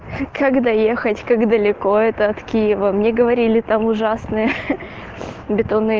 как доехать как далеко это от киева мне говорили там ужасные ха-ха бетонные